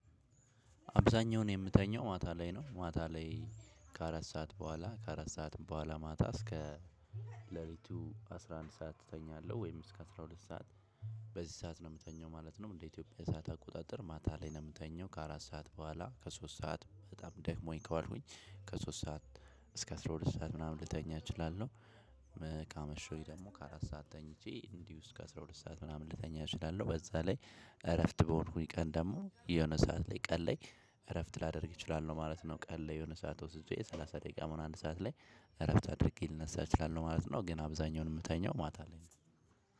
አብዛኛውን የምተኛው ማታ ላይ ነው ማታ ላይ ከአራት ሰዓት በኋላ ከአራት ሰዓት በኋላ ማታ እስከ ለሊቱ አስራ አንድ ሰዓት እተኛለሁ ወይም እስከ አስራ ሁለት ሰዓት በዚህ ሰዓት ነው ምተኛው ማለት ነው። በኢትዮጵያ ሰዓት አቆጣጠር ማታ ላይ ነው ምተኛው ከአራት ሰዓት በኋላ ከሶስት ሰዓት በጣም ደክሞኝ ከዋልኩኝ ከሠስት ሰዓት እስከ አስራ ሁለት ሰዓት ምናምን ልተኛ እችላለሁ። ካመሸው ደግሞ አራት ሰዓት ተኝቼ እንዲሁ እስከ አስራ ሁለት ሰዓት ልተኛ እችላለው በዛ ላይ እረፍት በሆንኩኝ ቀን ደግሞ የሆነ ሰዓት ላይ ቀን ላይ እረፍት ላደርግ እችላለለሁ ማለት ነው። ቀን ላይ የሆነ ሰዓት ወጥቼ የሰላሳ ደቂቃም ሆን አንድ ሰዓት ላይ እረፍት አድርጌ ልነሳ እችላለሁ ማለት ነው። ግን አብዛኛውን የምተኛው ማታ ላይ ነው።